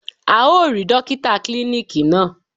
A ò rí Dókítà klíníkì náà.